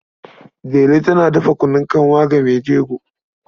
Delu tana dafa kunun kanwa ga mai jego.